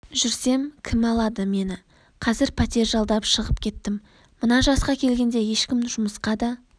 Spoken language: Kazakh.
жүрсем кім алады мені қазір пәтер жалдап шығып кеттім мына жасқа келгенде ешкім жұмысқа да